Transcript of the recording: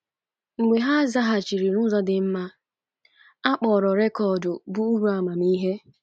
Mgbe ha zaghachiri n’ụzọ dị mma, a kpọrọ rekọd bụ́ Uru Amamihe.